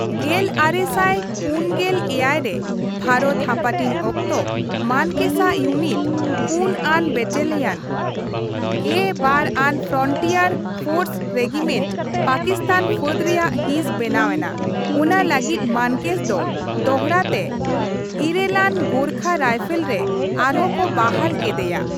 ᱜᱮᱞ ᱟᱨᱮ ᱥᱟᱭ ᱯᱩᱢ ᱜᱮᱞ ᱮᱭᱟᱭ ᱨᱮ ᱵᱷᱟᱨᱚᱛ ᱦᱟᱹᱯᱟᱹᱴᱤᱧ ᱚᱠᱛᱚ, ᱢᱟᱱᱠᱮᱥ ᱟᱜ ᱭᱩᱱᱤᱴ, ᱔ᱟᱱ ᱵᱟᱴᱟᱞᱤᱭᱟᱱ, ᱑᱒ᱟᱝ ᱯᱷᱚᱸᱴᱤᱭᱟᱨ ᱯᱷᱚᱨᱥ ᱨᱮᱜᱤᱢᱮᱱᱴ, ᱯᱟᱠᱤᱥᱛᱟᱱ ᱯᱷᱟᱹᱫ ᱨᱮᱭᱟᱜ ᱦᱤᱸᱥ ᱵᱮᱱᱟᱣ ᱮᱱᱟ, ᱚᱱᱟᱞᱟᱹᱜᱤᱫ ᱢᱟᱱᱠᱮᱥ ᱫᱚ ᱫᱚᱦᱲᱟ ᱛᱮ ᱘ᱟᱝ ᱜᱚᱨᱠᱷᱟ ᱨᱟᱭᱯᱷᱚᱞ ᱨᱮ ᱟᱨᱦᱚᱸ ᱠᱚ ᱵᱟᱦᱟᱞ ᱠᱮᱫᱮᱭᱟ ᱾